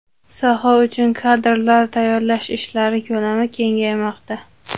Soha uchun kadrlar tayyorlash ishlari ko‘lami kengaymoqda.